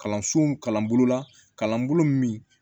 Kalansow kalanbolo la kalanbolo min